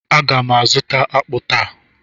a ga m azuta akpu taa.